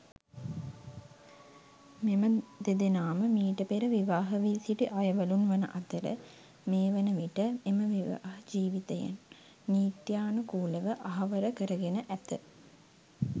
මෙම දෙදෙනාම මීට පෙර විවාහවී සිටි අයවළුන් වන අතර මේ වන විට එම විවාහ ජීවිතයන් නීත්‍යානුකූලව අහවර කරගෙන ඇත.